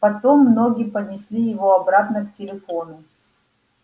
потом ноги понесли его обратно к телефону